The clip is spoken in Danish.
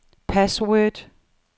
password